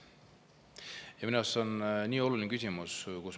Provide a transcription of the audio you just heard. Ja minu arust see on nii oluline küsimus.